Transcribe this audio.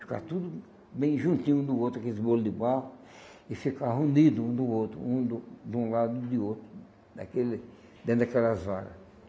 Ficava tudo bem juntinho um do outro aqueles bolo de barro e ficava unido um do outro, um de um de um lado e de outro, daquele, dentro daquelas varas.